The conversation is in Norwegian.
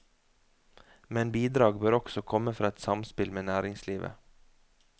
Men bidrag bør også komme fra et samspill med næringslivet.